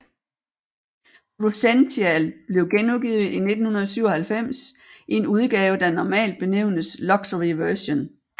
Cruzential blev genudgivet i 1997 i en udgave der normal benævnes Luxury Version